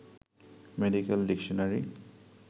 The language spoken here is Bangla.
medical dictionary